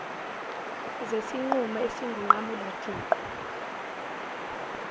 zesinqumo esingunqamula juqu